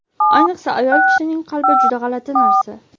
ayniqsa ayol kishining qalbi juda g‘alati narsa!.